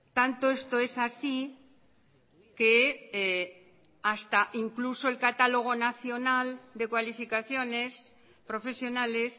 tanto esto es así que hasta incluso el catálogo nacional de cualificaciones profesionales